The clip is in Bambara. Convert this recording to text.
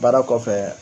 Baara kɔfɛ